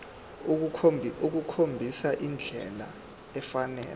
ukukhombisa indlela efanele